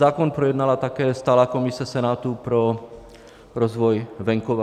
Zákon projednala také Stálá komise Senátu pro rozvoj venkova.